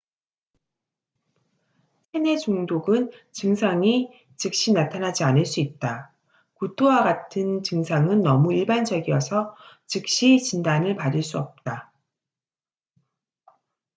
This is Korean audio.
체내 중독은 증상이 즉시 나타나지 않을 수 있다 구토와 같은 증상은 너무 일반적이어서 즉시 진단을 받을 수 없다